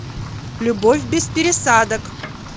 любовь без пересадок